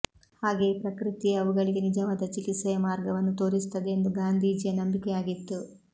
ಹಾಗೆಯೇ ಪ್ರಕೃತಿಯೇ ಅವುಗಳಿಗೆ ನಿಜವಾದ ಚಿಕಿತ್ಸೆಯ ಮಾರ್ಗವನ್ನು ತೋರಿಸುತ್ತದೆಂದು ಗಾಂಧೀಜಿಯ ನಂಬಿಕೆಯಾಗಿತ್ತು